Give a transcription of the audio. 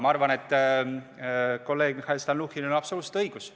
Ma arvan, et kolleeg Mihhail Stalnuhhinil on absoluutselt õigus.